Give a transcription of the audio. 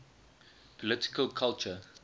political culture